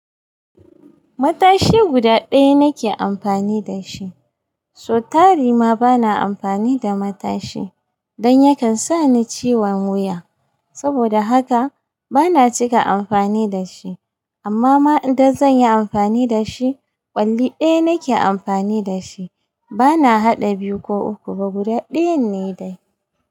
Matashi guda ɗaya nake amfani da shi. So tari ma bana amfani da matashi don yakan sa ni ciwon wuya. Saboda haka bana cika amfani da shi, amma ma idan zan yi amfani da shi, ƙwalli ɗaya nake amfani da shi. Bana haɗa biyu ko uku ba, guda ɗayan ne dai.